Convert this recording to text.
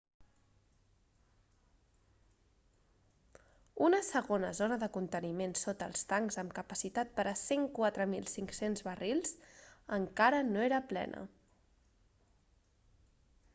una segona zona de conteniment sota els tancs amb capacitat per a 104.500 barrils encara no era plena